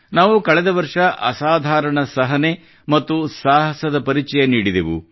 ನಾವು ಕಳೆದ ವರ್ಷ ಅಸಾಧಾರಣ ಸಹನೆ ಮತ್ತು ಸಾಹಸದ ಪರಿಚಯ ನೀಡಿದೆವು